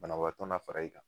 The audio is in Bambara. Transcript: Banabaatɔ na fara i kan.